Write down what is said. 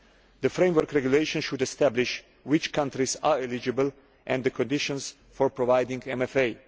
The Framework Regulation should establish which countries are eligible, and the conditions for providing MFA.